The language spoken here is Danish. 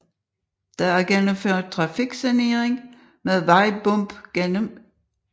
Der er gennemført trafiksanering med vejbumpgennem byen og der er cykelsti langs vejen gennem hele byen